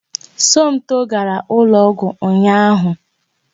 Somto gara ụlọ ọgwụ ụnyaahụ